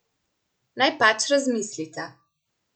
Naj pač razmislita.